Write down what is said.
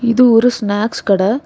இது ஒரு ஸ்நாக்ஸ் கட.